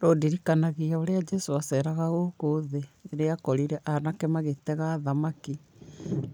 Rũndirikanagia ũrĩa Jesũ aceraga gũkũ thĩ, rĩrĩa akorire anake magĩtega thamaki,